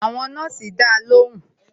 Àwọn nọ́ọ̀sì ń dá lóhùn